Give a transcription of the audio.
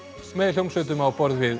með hljómsveitum á borð við